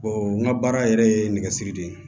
n ka baara yɛrɛ ye nɛgɛsiri de ye